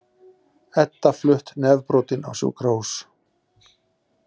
Edda flutt nefbrotin á sjúkrahús